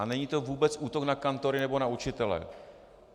A není to vůbec útok na kantory nebo na učitele.